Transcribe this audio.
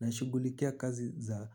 Nashugulikia kazi za